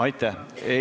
Aitäh!